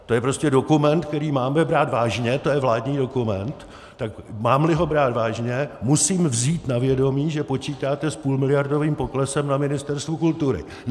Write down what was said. To je prostě dokument, který máme brát vážně, to je vládní dokument, tak mám-li ho brát vážně, musím vzít na vědomí, že počítáte s půlmiliardovým poklesem na Ministerstvu kultury.